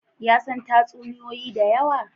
Ya san tatsuniyoyi da yawa